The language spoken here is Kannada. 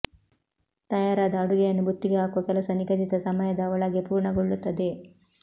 ತಯಾರಾದ ಅಡುಗೆಯನ್ನು ಬುತ್ತಿಗೆ ಹಾಕುವ ಕೆಲಸ ನಿಗದಿತ ಸಮಯದ ಒಳಗೆ ಪೂರ್ಣಗೊಳ್ಳುತ್ತದೆ